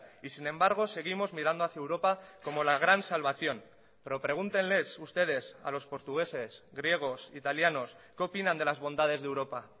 y sin embargo seguimos mirando hacia europa como la gran salvación pero pregúntenles ustedes a los portugueses griegos italianos qué opinan de las bondades de europa